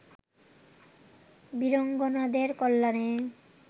বীরাঙ্গনাদের কল্যাণে